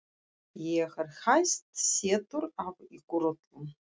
Ég er hæst settur af ykkur öllum!